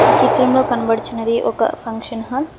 చిత్రంలో కబడుచున్నది ఒక ఫంక్షన్ హాల్ .